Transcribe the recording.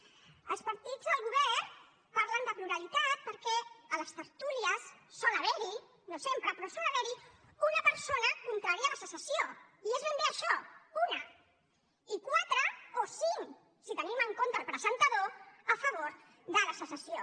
els partits del govern parlen de pluralitat perquè a les tertúlies sol haver hi no sempre però sol haver hi una persona contrària a la secessió i és ben bé això una i quatre o cinc si tenim en compte el presentador a favor de la secessió